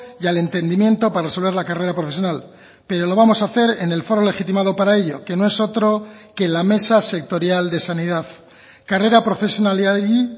y al entendimiento para resolver la carrera profesional pero lo vamos a hacer en el foro legitimado para ello que no es otro que la mesa sectorial de sanidad karrera profesionalari